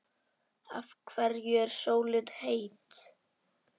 Af hverju er sólin heit?